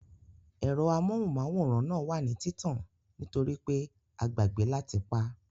Ẹ̀rọ amóhùnmáwòrán náà wà ní títàn nítorípé a gbàgbẹ́ láti pá